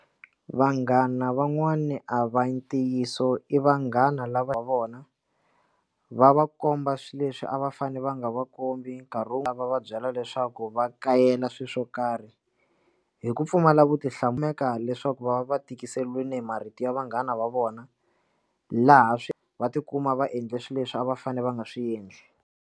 Vanghana van'wani a va ntiyiso i vanghana lava va vona va va komba swilo leswi a va fane va nga va kombi nkarhi wu nga va byela leswaku va kakayela swilo swo karhi hi ku pfumala vutihlamuleri eka leswaku va va tikiseleni marito ya vanghana va vona laha swi va tikuma va endle swilo leswi a va fanele va nga swi endli.